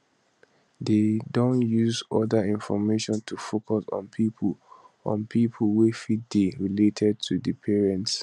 dey don use oda information to focus on pipo on pipo wey fit dey related to di parents